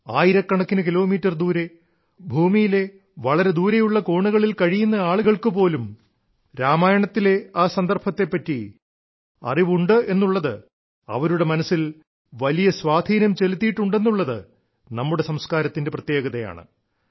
ആയിരക്കണക്കിന് കിലോമീറ്റർ ദൂരെ ഭൂമിയിലെ വളരെ ദൂരെയുള്ള കോണുകളിൽ കഴിയുന്ന ആളുകൾക്ക് പോലും രാമായണത്തിലെ ആ സന്ദർഭത്തെപ്പറ്റി ഇത്ര ആഴത്തിലുള്ള അറിവുണ്ടെന്നുള്ളത് അവരുടെ മനസ്സിൽ വലിയ സ്വാധീനം ചെലുത്തിയിട്ടുണ്ടെന്നുള്ളത് നമ്മുടെ സംസ്കാരത്തിന്റെ പ്രത്യേകതയാണ്